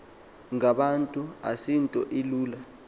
ngabantu asinto ilula